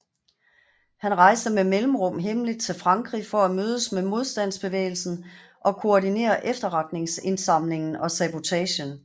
Han rejste med mellemrum hemmeligt til Frankrig for at mødes med modstandsbevægelsen og koordinere efterretningsindsamlingen og sabotagen